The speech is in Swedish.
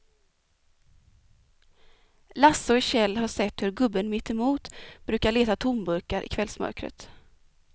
Lasse och Kjell har sett hur gubben mittemot brukar leta tomburkar i kvällsmörkret.